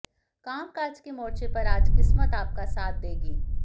कामकाज के मोर्चे पर आज किस्मत आपका साथ देगी